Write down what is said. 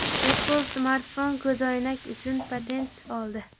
Apple smartfon-ko‘zoynak uchun patent oldi.